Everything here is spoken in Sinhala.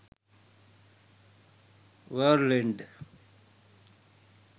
world end